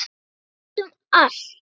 Við getum allt.